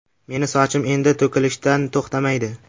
Meni sochim endi to‘kilishdan to‘xtamaydi.